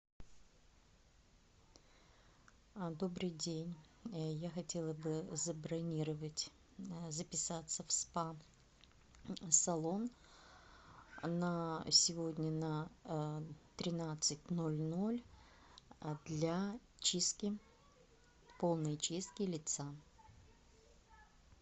добрый день я хотела бы забронировать записаться в спа салон на сегодня на тринадцать ноль ноль для чистки полной чистки лица